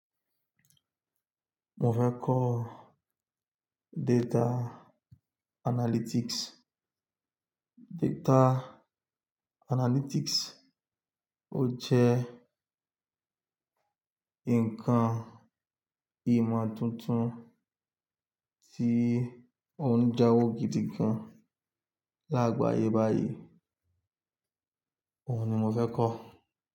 Mo fẹ́ kọ́ data analysis. Data analytics ó jẹ́ ǹkan ìmọ̀ tuntun tí ó ń jáwó gidi gan-an lágbàáyé báyìí. Óun ni mo fẹ́ kọ́